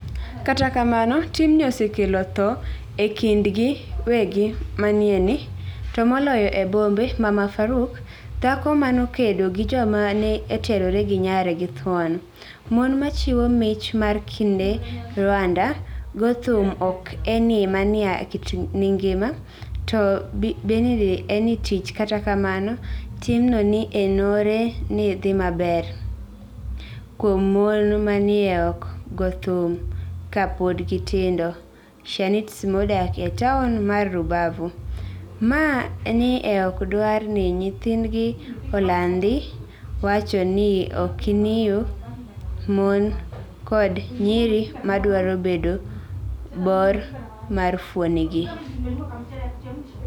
Kata kamano, timnii osekelo tho e kinid tienig ' maniyieni, to moloyo e bombe, Mama Faruk: Dhako ma nokedo gi joma ni e terore gi niyare gi thuoni .Moni ma chiwo mich mar kenid Rwanida 'Go thum ok eni mania kit nigima, to benide eni tich' Kata kamano, timno ni enore nii dhi maber kuom moni ma ni e ok go thum ka pod gitinido Shanitzi modak e taoni mar Rubavu, ma ni e ok dwar nii niyinige olanidi, wacho nii okoniyo moni koda niyiri madwaro medo bor mar fuonidgi.